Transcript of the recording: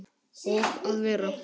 Og að vera